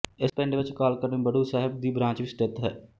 ਇਸ ਪਿੰਡ ਵਿਚ ਅਕਾਲ ਅਕੈਡਮੀ ਬੜੂ ਸਾਹਿਬ ਦੀ ਬ੍ਰਾਂਚ ਵੀ ਸਥਿੱਤ ਹੈ